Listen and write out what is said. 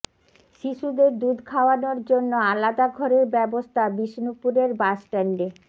শিশুদের দুধ খাওয়ানোর জন্য আলাদা ঘরের ব্যবস্থা বিষ্ণুপুরের বাসস্ট্যান্ডে